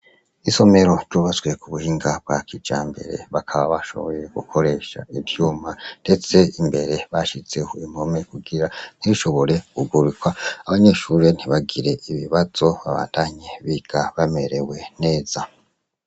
Isomero ryubatswe ku buhinga bwa kija mbere bakaba bashoboye gukoresha ivyuma, ndetse imbere bashizeho impome kugira ntibishobore gugurikwa abanyeshurire ntibagire ibibazo babandanye biga bamerewe neza.